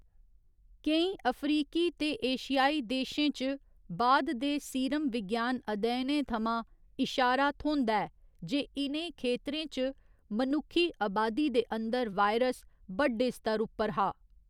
केईं अफ्रीकी ते एशियाई देशें च बाद दे सीरमविज्ञान अध्ययनें थमां इशारा थ्होंदा ऐ जे इ'नें खेतरें च मनुक्खी अबादी दे अंदर वायरस बड्डे स्तर उप्पर हा।